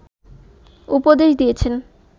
উপদেশ দিয়েছেন